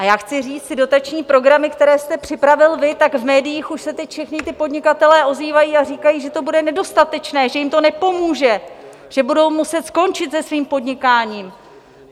A já chci říct, ty dotační programy, které jste připravil vy, tak v médiích už se teď všichni ti podnikatelé ozývají a říkají, že to bude nedostatečné, že jim to nepomůže, že budou muset skončit se svým podnikáním.